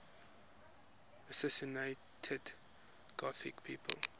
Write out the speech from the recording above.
assassinated gothic people